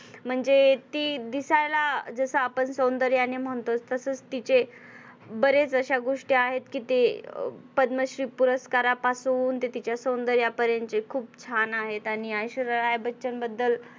म्हणजे ती दिसायला जस आपण सौंदर्याने म्हणतो तसेच तिचे बरेच अशा गोष्टी आहेत कि ते पद्मश्री पुरस्कारापासून ते तिच्या सौंदर्यापर्यंतचे खुप छान आहेत. ऐश्वर्या राय बच्चन बद्दल